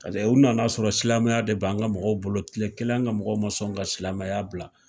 u nana sɔrɔ silamɛya de b'an ka mɔgɔw bolo, kile kelen an ga mɔgɔw ma sɔn ka silamɛya bila.